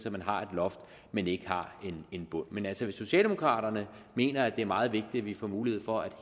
at man har et loft men ikke har en bund men altså hvis socialdemokraterne mener at det er meget vigtigt at vi får mulighed for at